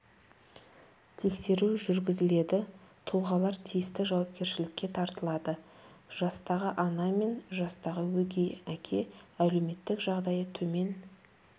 тексеру жүргізіледі тұлғалар тиісті жауапкершілікке тартылады жастағы ана мен жастағы өгей әке әлеуметтік жағдайы төмен